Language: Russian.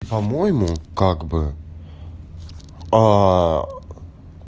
по-моему как бы